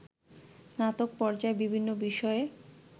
স্নাতক পর্যায়ে বিভিন্ন বিষয়ে